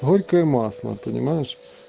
горькое масло понимаешь